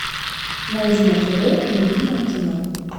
найди на тв любимое кино